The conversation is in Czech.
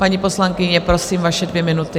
Paní poslankyně prosím, vaše dvě minuty.